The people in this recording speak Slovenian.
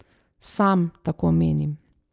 Sam tako menim.